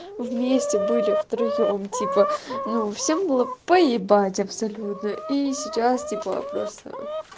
вместе были втроём типа ну всем было поебать абсолютно и сейчас типа просто